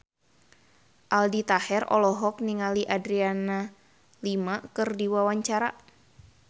Aldi Taher olohok ningali Adriana Lima keur diwawancara